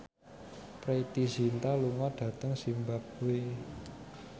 Preity Zinta lunga dhateng zimbabwe